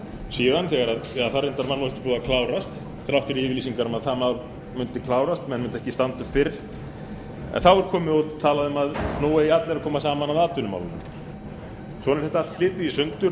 ekki búið að klárast þrátt fyrir yfirlýsingar um að það mál mundi klárast menn mundu ekki standa upp fyrr en þá er talað um að nú eigi allar að koma saman að atvinnumálunum svona er þetta allt slitið í sundur